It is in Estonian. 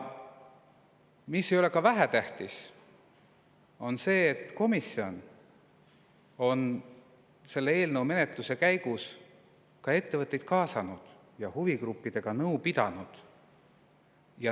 Ka ei ole vähetähtis see, et komisjon on eelnõu menetluse käigus kaasanud ettevõtteid ja pidanud nõu huvigruppidega.